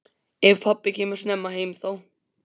Ef pabbi kemur snemma heim þá.